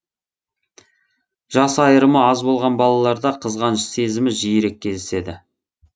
жас айырымы аз болған балаларда қызғаныш сезімі жиірек кездеседі